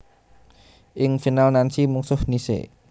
Ing final Nancy mungsuh Nice